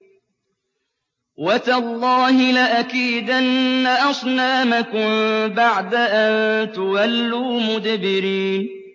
وَتَاللَّهِ لَأَكِيدَنَّ أَصْنَامَكُم بَعْدَ أَن تُوَلُّوا مُدْبِرِينَ